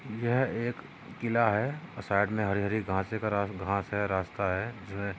यह एक किला है। और साइड मे हरी हरी घासे रास घास है रास्ता है जो है।